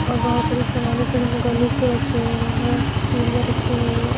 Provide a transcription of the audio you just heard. और बहुत सारी समान गले के रखे हुए हैं चूड़ियां रखी हुई है।